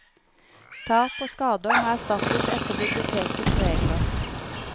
Tap og skader må erstattes etter bibliotekets regler.